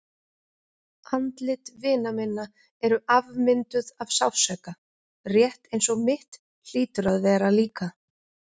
Andlit vina minna eru afmynduð af sársauka, rétt eins og mitt hlýtur að vera líka.